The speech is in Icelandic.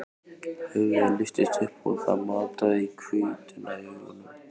Höfuðið lyftist upp og það mataði í hvítuna í augunum.